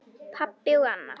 Pabbi og Anna.